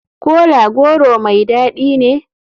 Kola goro mai dadi ne?